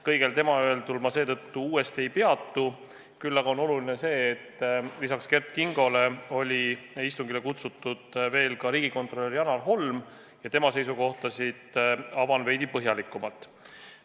Kõigel tema öeldul ma uuesti ei peatu, küll aga on oluline see, et lisaks Kert Kingole oli istungile kutsutud ka riigikontrolör Janar Holm ja tema seisukohtasid ma avan veidi põhjalikumalt.